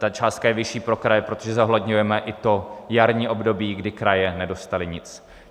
Ta částka je vyšší pro kraje, protože zohledňujeme i to jarní období, kdy kraje nedostaly nic.